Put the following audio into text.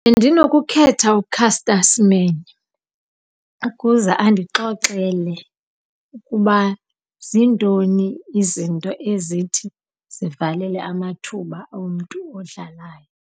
Bendinokukhetha uCaster Semenya ukuze andixoxele ukuba zintoni izinto ezithi zivalele amathuba omntu odlalayo.